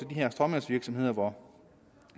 her stråmandsvirksomheder hvor